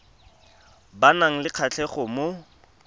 ba nang le kgatlhego mo